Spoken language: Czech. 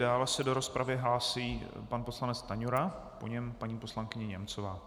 Dále se do rozpravy hlásí pan poslanec Stanjura, po něm paní poslankyně Němcová.